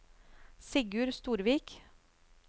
Sigurd Storvik